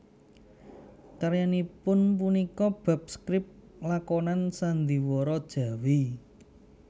Karyanipun punika bab skrip lakonan sandhiwara Jawi